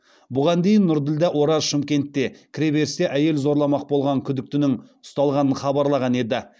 бұған дейін нұрділдә ораз шымкентте кіреберісте әйел зорламақ болған күдіктінің ұсталғанын хабарлаған еді